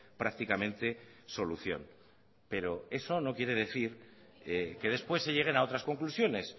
prácticamente solución pero eso no quiere decir que después se lleguen a otras conclusiones